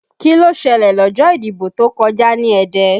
Kí ló ṣẹlẹ̀ lọ́jọ́ ìdìbò tó kọjá ní Ẹdẹ?